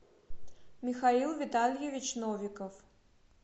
михаил витальевич новиков